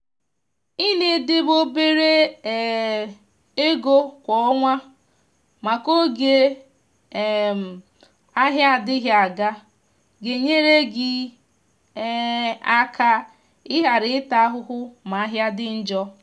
i na edebe obere um ego kwa ọnwa maka oge um ahịa adịghị aga. ga-enyere gị um aka i ghara ịta ahụhụ ma ahịa dị njọ.